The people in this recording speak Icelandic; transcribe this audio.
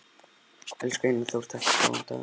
Elsku Einar Þór, takk fyrir góðan dag.